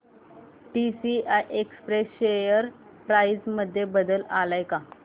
TCI express share price मध्ये बदल आलाय का